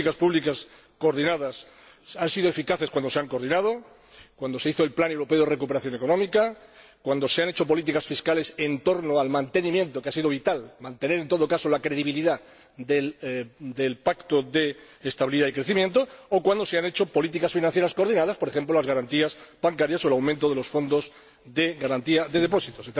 Las políticas públicas coordinadas han sido eficaces cuando realmente se han coordinado cuando se hizo el plan europeo de recuperación económica, cuando se han hecho políticas fiscales en torno al mantenimiento —que ha sido vital— de la credibilidad del Pacto de Estabilidad y Crecimiento o cuando se han hecho políticas financieras coordinadas, por ejemplo, las garantías bancarias o el aumento de los fondos de garantía de depósitos.